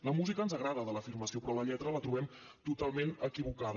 la música ens agrada de l’afirmació però la lletra la trobem totalment equivocada